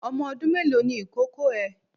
Ọmọ ọdún mélòó ni ìkókó ẹ?